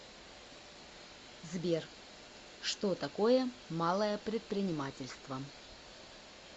сбер что такое малое предпринимательство